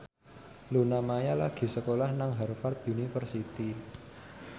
Luna Maya lagi sekolah nang Harvard university